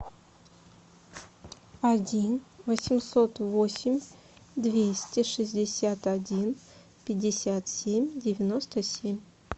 один восемьсот восемь двести шестьдесят один пятьдесят семь девяносто семь